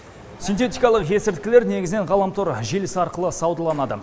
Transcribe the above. синтетикалық есірткілер негізінен ғаламтор желісі арқылы саудаланады